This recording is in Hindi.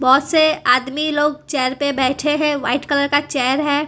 बहोत से आदमी लोग चेयर पे बैठे है वाइट कलर का चेयर है।